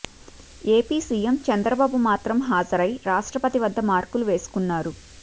AP CM Chandrababu మాత్రం హాజరై రాష్ట్రపతి వద్ద మార్కులు వేసుకున్నారు